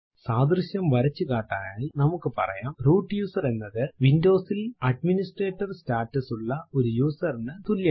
സാദൃശ്യം വരച്ചു കാട്ടാനായി നമുക്ക് പറയാം റൂട്ട് യൂസർ എന്നത് Windows ൽ അഡ്മിനിസ്ട്രേറ്റർ സ്റ്റാറ്റസ് ഉള്ള ഒരു യൂസർ നു തുല്യമാണ്